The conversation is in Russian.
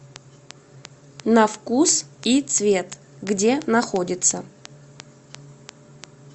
на вкус и цвет где находится